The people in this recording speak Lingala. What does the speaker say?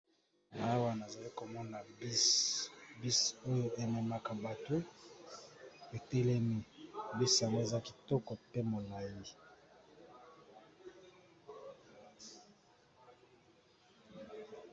Awa nazalikomona bus oyo ememaka bato etelemi bus wana eza kitoko pe molayi.